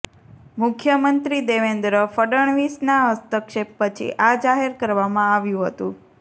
મુખ્યમંત્રી દેવેન્દ્ર ફડણવીસના હસ્તક્ષેપ પછી આ જાહેર કરવામાં આવ્યુ હતુ